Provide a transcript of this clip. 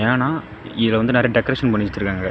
ஆனா இத வந்து நெறய டெக்கரேஷன் பண்ணி வெச்சிருக்காங்க.